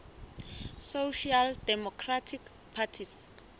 social democratic parties